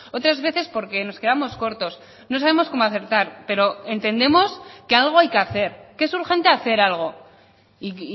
otras veces porque nos quedamos cortos no sabemos cómo acertar pero entendemos que algo hay que hacer que es urgente hacer algo y